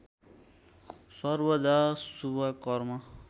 सर्वदा शुभ कर्म